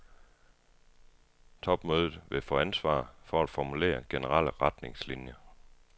Topmødet vil få ansvar for at formulere generelle retningslinjer.